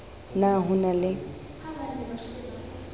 p na ho na le